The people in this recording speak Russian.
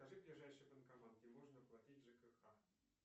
покажи ближайший банкомат где можно оплатить жкх